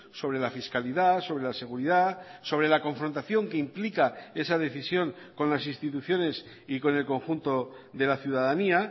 sobre la fiscalidad sobre la seguridad sobre la confrontación que implica esa decisión con las instituciones y con el conjunto de la ciudadanía